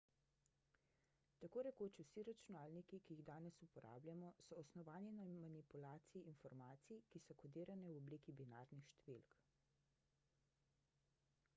tako rekoč vsi računalniki ki jih danes uporabljamo so osnovani na manipulaciji informacij ki so kodirane v obliki binarnih številk